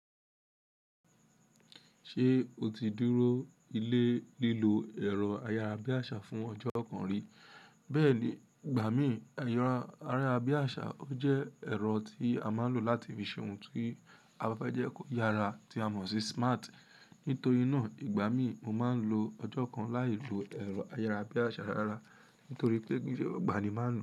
Ṣé o ti dúró ilé lílo ẹ̀rọ ayára bí àsá fún ọjọ́ kan rí? Bẹ́ẹ̀ ni, ìgbà míi ero ayára bí àsá ó jẹ́ ẹ̀rọ tí a máa ń lò láti fi ṣe ohun tí a bá fẹ́ jẹ́ kó yára tí a mọ̀ sí smart. Nítorí náà ìgbà mí, mo máa ń lo ọjọ́ kan láì lo ẹ̀rọ ayára bí àsá rárá nítorí pé gbogbo ènìyàn máa ń lo.